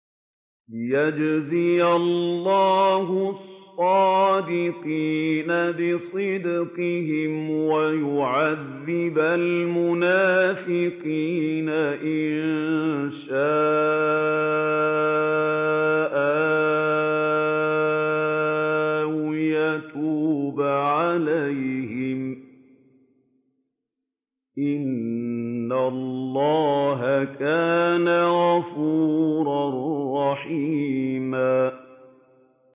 لِّيَجْزِيَ اللَّهُ الصَّادِقِينَ بِصِدْقِهِمْ وَيُعَذِّبَ الْمُنَافِقِينَ إِن شَاءَ أَوْ يَتُوبَ عَلَيْهِمْ ۚ إِنَّ اللَّهَ كَانَ غَفُورًا رَّحِيمًا